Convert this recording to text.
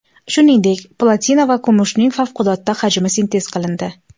Shuningdek, platina va kumushning favqulodda hajmi sintez qilindi.